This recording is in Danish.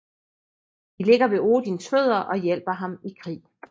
De ligger ved Odins fødder og hjælper ham i krig